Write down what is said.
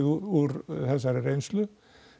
úr þessari reynslu